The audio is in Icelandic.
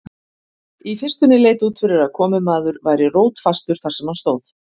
Í fyrstunni leit út fyrir að komumaður væri rótfastur þar sem hann stóð.